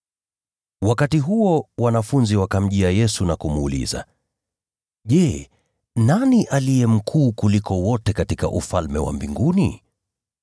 Wakati huo, wanafunzi wakamjia Yesu na kumuuliza, “Je, nani aliye mkuu kuliko wote katika Ufalme wa Mbinguni?”